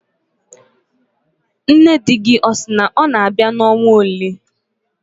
Nne di gị ọ sị na ọ na-abịa n'ọnwa ole?